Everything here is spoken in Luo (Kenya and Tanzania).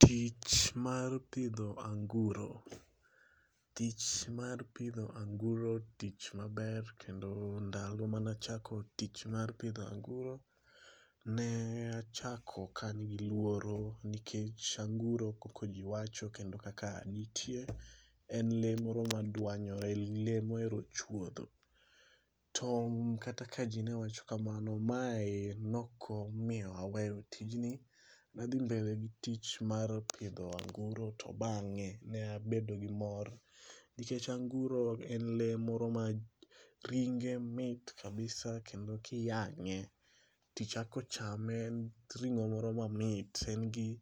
Tich mar pidho anguro. Tich mar pidho anguro tich maber kendo ndalo manachako tich mar pidho anguro, ne achako ka an gi luoro nikech anguro kaka ji wacho kendo kaka nitie, en lee moro madwanyore ,lee mohero chwodho. To kata ka ji ne wacho kamano, mae nokomiyo aweyo tijni. Nadhi mbele gi tich mar pidho anguro to bang'e, ne abedo gi mor nikech anguro en lee moro ma ringe mit kabisa kendo kiyang'e, tichako chame ,en ring'o moro mamit. En gi